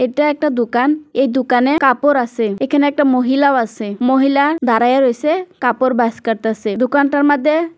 এটা একটা দোকান এই দোকানে কাপড় আসে এখানে একটা মহিলা ও আসে মহিলা দাঁড়াইয়া রয়েসে কাপড় বাস করতাসে দোকানটার মধ্যে।